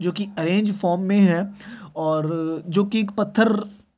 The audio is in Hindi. जो की अरैन्ज फ़ोम मे है और जो की पत्थर ररर--